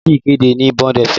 Lọ ṣe ìkéde ní Bond fm!